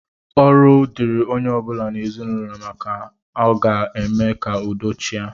Ọrụ dịịrị onye ọ bụla n'ezinụlọ maka na ọ ga-eme ka udo chịa